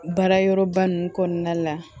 Baara yɔrɔ ba ninnu kɔnɔna la